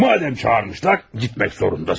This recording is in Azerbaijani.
Madam çağırıblar getməlisən.